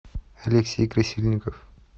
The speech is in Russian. алексей красильников